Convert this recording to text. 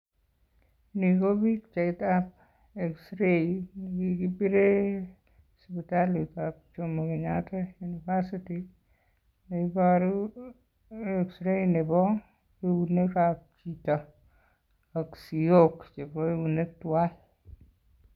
Ni ko pichaitab xray nekikibiren sipitalitab Jomo Kenyatta university neiboru xray nebo eunekab chito ak siyok chebo eunek tuan.